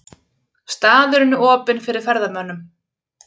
Staðurinn er opinn fyrir ferðamönnum.